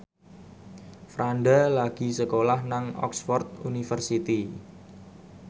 Franda lagi sekolah nang Oxford university